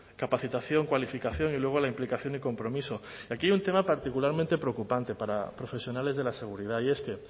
capacitación cualificación y luego la implicación y compromiso y aquí hay un tema particularmente preocupante para profesionales de la seguridad y es que